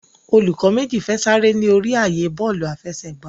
Olùkó méjì fè Sare ní orí ààyè Bọ́ọ̀lù àfẹsẹ̀gbá.